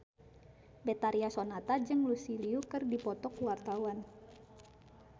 Betharia Sonata jeung Lucy Liu keur dipoto ku wartawan